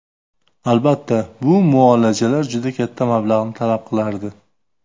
Albatta, bu muolajalar juda katta mablag‘ni talab qilardi.